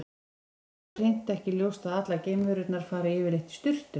Til dæmis er hér hreint ekki ljóst að allar geimverur fari yfirleitt í sturtu.